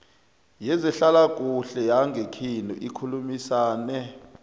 yezehlalakuhle yangekhenu nikhulumisane